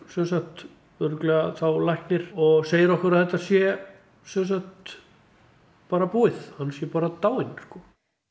semsagt örugglega læknir og segir okkur að þetta sé semsagt bara búið hann sé bara dáinn sko